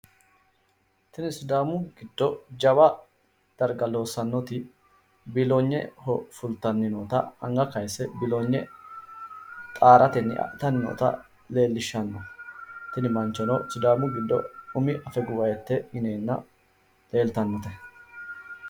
Tini sidaamu giddo jawa darga biilonye amadinote biilonyeho fulano manni xaare adhanottanna, sidaamu giddo Afaguwahite ikkitinotta xawisano